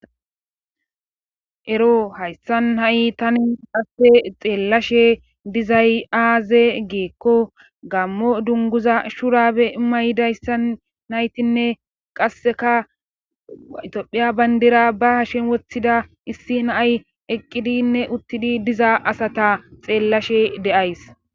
ero hayssan ha7i tani haste xeellashe dizay aaze geekko gammo dunguza shurabe maydayssan naytinne qasseka itophiya bandira ba hashen woththida issi naay eqqidinne uttidi diza asata xeellashe de'ays